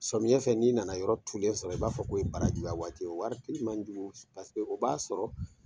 Samiyɛ fɛ n'i nana yɔrɔ tulen sɔrɔ i b'a fɔ ko ye baarajuya waati ye o waati manjugu paseke o b'a sɔrɔ